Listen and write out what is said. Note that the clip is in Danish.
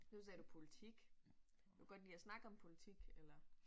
Nu sagde du politik du kan godt lide at snakke om politik eller